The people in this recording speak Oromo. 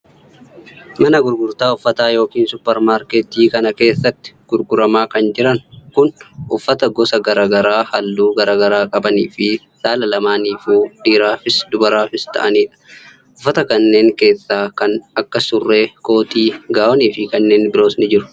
Mana gurgurtaa uffataa yookin supparmaarkettii kana keessatti gurguramaa kan jiran kun, uffata gosa garaa haalluu garaa garaa qabanii fi saala lamaanifuu dhiiraafis dubaraafis ta'anii dha. Uffata kanneen keessaa kan akka:surree, kootii gaawonii fi kanneen biroos ni jiru.